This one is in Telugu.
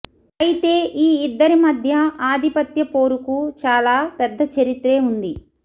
అయితే ఈ ఇద్దరి మధ్య ఆధిపత్య పోరుకు చాలా పెద్ద చరిత్రే ఉంది